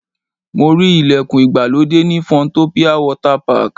Mo rí ìlẹ̀kùn ìgbàlódé ní Funtopia Water Park.